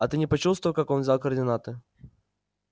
а ты не почувствовал как он взял координаты